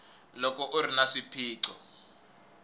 loko u ri na swiphiqo